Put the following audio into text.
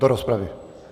Do rozpravy?